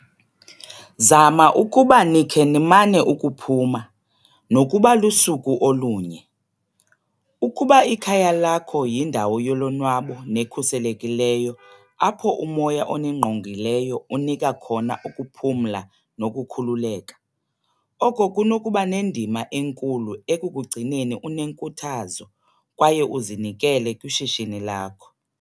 Zama ukuba nikhe nimane ukuphuma, nokuba lusuku olunye. Ukuba ikhaya lakho yindawo yolonwabo nekhuselekileyo apho umoya oningqongileyo unika khona ukuphumla nokukhululeka, oko kunokuba nendima enkulu ekukugcineni unenkuthazo kwaye uzinikele kwishishini lakho.